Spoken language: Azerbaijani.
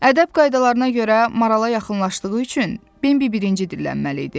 Ədəb qaydalarına görə marala yaxınlaşdığı üçün Bembi birinci dillənməli idi.